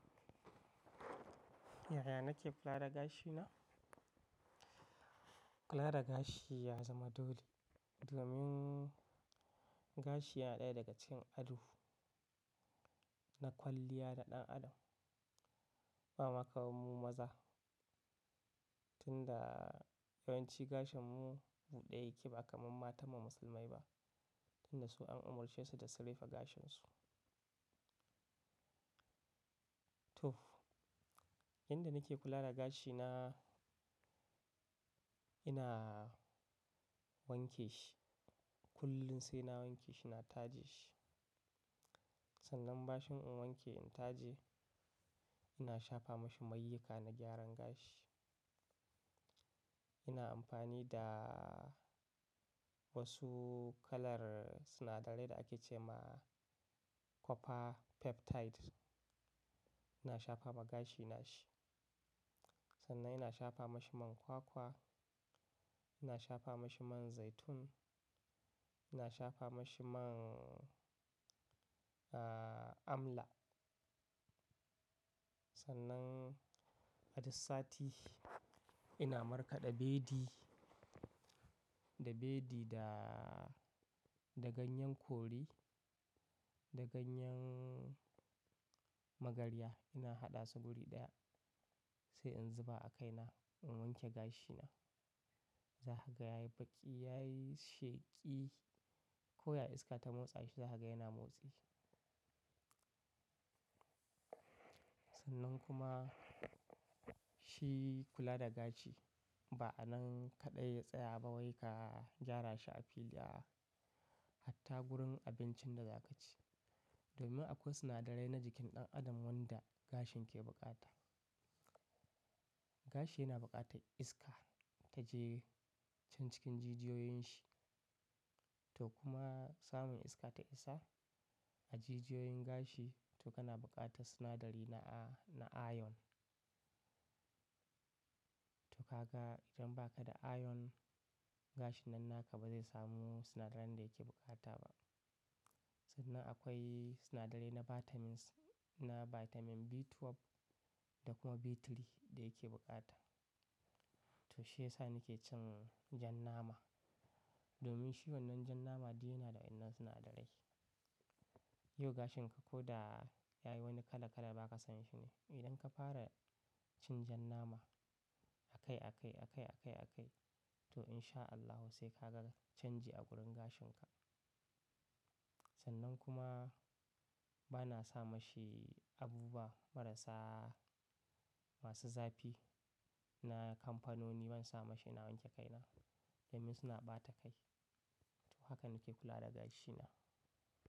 Yaya nake kula da gashina? Kula da gashi ya zama dole domin gashi yana ɗaya daga cikin ado. Na kwalliya da ɗan adam. Ba ma kamar mu maza, tunda yawanci gashin mu buɗe yake ba kamar matan mu musulmai ba, tunda su an umarce su da su rufe gashin su. To! Yanda nake kula da gashi na, ina wankeshi kullum saina wanke shi na taje shi. Sannan bashin in wanke in taje, ina shafa mashi mayyuka na gyaran gashi. Ina amfani da wasu kalar sinadarai da ake ce ma "copper peptide." Ina shafa ma gashi na shi. Sannan ina shafa mashi man kwakwa, ina shafa mashi man zaitun, ina shafa mashi man, ah, amla. Sannan a dussasati ina markaɗa bedi, da bedi da, da ganyen kori, da ganyen magarya ina haɗa su guri ɗaya sai in zuba a kaina in wanke gashi na. Zakaga yayi baƙi, yayi sheƙi. Ko ya iska ta motsa shi zahaga yana motsi. Sannan kuma shi kula da gashi ba anan kaɗai ya tsaya ba wai ka gyara shi a fili aa hatta gurin abincin da za ka ci. Domin akwai sinadarai na jikin ɗan adam wanda gashin ke bukata. Gashi yana bukata iska ta je cancikin jijiyoyin shi to kuma samun iska ta isa a jijiyoyin gashi to kana bukata sinadari na a-- na iron. To kaga idan ba ka da iron, gashin nan naka bazai samu sinadaran da yake bukata ba. Sannan akwai sinadarai na vitamins, na vitamin B12 da kuma B3 da yake bukata. To shi yasa nike cin jan nama domin shi wannan jan nama duk yana da wannan sinadarai. Yau gashin ka ko da ya yi wani kala --kala ba ka san shi ne, idan ka fara cin jan nama. A kai a kai a kai a kai a kai to insha Allahu sai kaga canji a gurin gashin ka. Sannan kuma bana sa mashi abubuwa marasa masu zafi na kamfanoni bansa mashi na wanke kaina domin suna ɓata kai. To haka nake kula da gashi na.